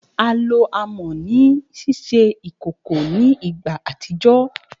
A lo amọ ni ṣiṣe ikoko ni igba atijọ.